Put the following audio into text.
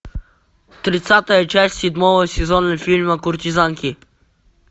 тридцатая часть седьмого сезона фильма куртизанки